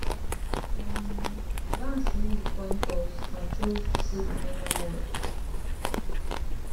um vance win di coin toss and chose to say di final word